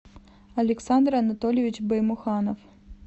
александр анатольевич баймуханов